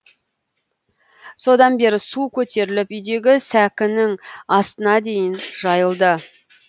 содан бері су көтеріліп үйдегі сәкінің астына дейін жайылды